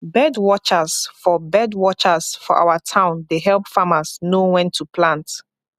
bird watchers for bird watchers for our town dey help farmers know when to plant